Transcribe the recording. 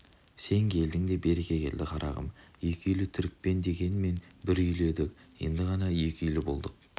сен келдің де береке келді қарағым екі үйлі түрікпен дегенмен бір үйлі едік енді ғана екі үйлі болдық